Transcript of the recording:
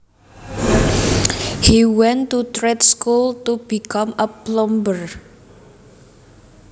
He went to trade school to become a plumber